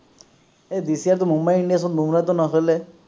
এই this year তো মুম্বাই ইন্ডিয়ানছত বুম্ৰাহতো নচলে